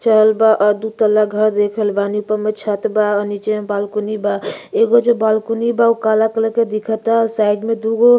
चौल बा दुतल्ला घर देख रहल बानी। कोनो छत बा और नीचे में बालकनी बा। एगो जो बालकनी बा उ काला कलर के दिखता। साइड में दुगो --